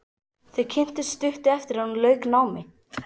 Þau kynntust stuttu eftir að hún lauk námi.